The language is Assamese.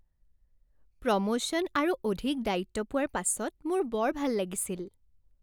প্ৰমোশ্যন আৰু অধিক দায়িত্ব পোৱাৰ পাছত মোৰ বৰ ভাল লাগিছিল।